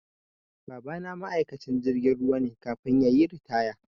Babana ma'aikacin jirgin ruwa ne kafin yayi ritaya